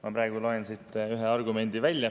Ma praegu loen siit ühe argumendi välja.